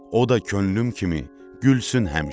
O da könlüm kimi gülsün həmişə.